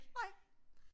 Nej